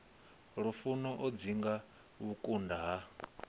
lufuno o dzinga vhukunda ha